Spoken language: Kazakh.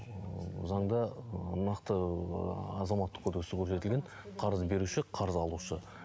заңда нақты ы азаматтық кодексте көрсетілген қарыз беруші қарыз алушы